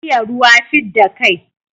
Iya ruwa fidda kai.